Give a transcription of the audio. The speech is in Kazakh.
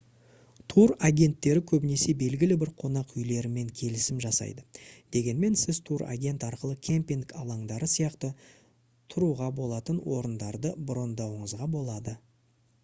тур агентттері көбінесе белгілі бір қонақ үйлермен келісім жасайды дегенмен сіз тур агент арқылы кемпинг алаңдары сияқты тұруға болатын орындарды брондауыңызға болады